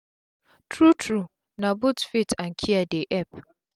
tru tru na both um faith and care dey epp